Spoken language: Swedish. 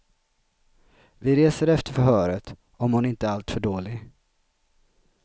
Vi reser efter förhöret, om hon inte är alltför dålig.